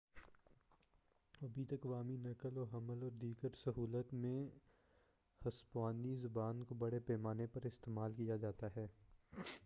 ابھی تک عوامی نقل و حمل اور دیگر سہولیات میں ہسپانوی زبان کو بڑے پیمانے پر استعمال کیا جاتا ہے